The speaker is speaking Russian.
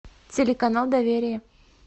телеканал доверие